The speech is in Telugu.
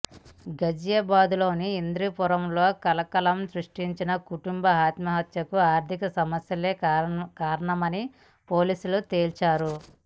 ఘజియాబాద్లోని ఇందిరాపురంలో కలకలం సృష్టించిన కుటుంబం ఆత్మహత్యకు ఆర్థిక సమస్యలే కారణమని పోలీసులు తేల్చారు